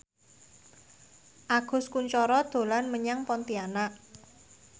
Agus Kuncoro dolan menyang Pontianak